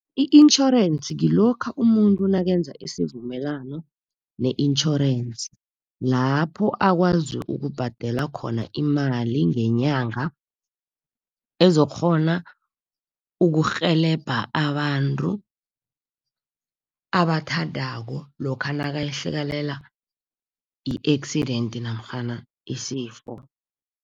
I-intjhorensi ngilokha umuntu nakenza isivumelwano ne-insurance, lapho akwazi ukubhadela khona imali ngenyanga, ezokukghona ukurhelebha abantu abathandako, lokha nakehlakalelwa yi-accident namkhana isifo.